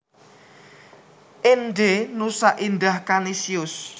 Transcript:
Ende Nusa Indah Kanisius